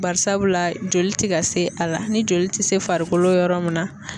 Barisabula joli ti ka se a la ni joli ti se farikolo yɔrɔ min na